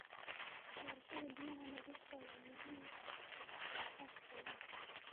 Barashada biyaha nadiifka ah ayaa muhiim u ah koritaanka kalluunka.